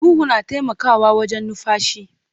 Huhu na taimakawa wajen numfashi.